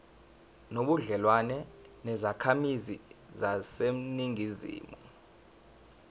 nobudlelwane nezakhamizi zaseningizimu